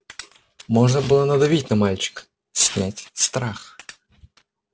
можно было надавить на мальчика снять страх